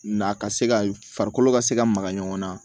Na ka se ka farikolo ka se ka maga ɲɔgɔn na